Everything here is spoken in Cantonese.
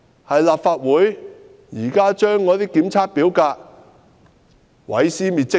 是立法會把那些檢測表格毀屍滅跡嗎？